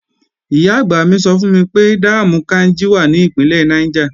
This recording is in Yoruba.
Ìyá-àgbà mi sọ fún mi pé dáàmù Káínjí wà ní Ìpínlẹ̀ Niger